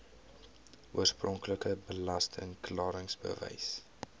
oorspronklike belasting klaringsbewys